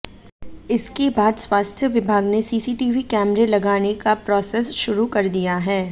इसके बाद स्वास्थ्य विभाग ने सीसीटीवी कैमरे लगाने का प्रोसेस शुरू कर दिया है